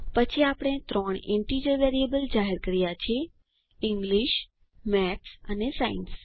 પછી આપણે ત્રણ ઈન્ટીજર વેરિયેબલ જાહેર કર્યા છે ઇંગ્લિશ મેથ્સ અને સાયન્સ